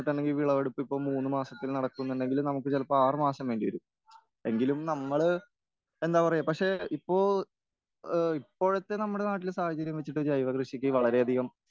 ഈ വിളവെടുപ്പ് ഇപ്പോ മൂന്നുമാസത്തില്നടക്കുന്നുണ്ടെങ്കില് നമുക്ക് ചിലപ്പോൾ ആറ് മാസം വേണ്ടിവരും.എങ്കിലും നമ്മള് എന്താ പറയാ പക്ഷെ ഇപ്പൊ ഇപ്പോഴത്തെ നമ്മുടെ നാട്ടിലെ സാഹചര്യം അനുസരിച്ച് ജൈവകൃഷിക്ക് വളരെയധികം